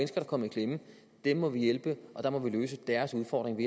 der er kommet i klemme dem må vi hjælpe og der må vi løse deres udfordring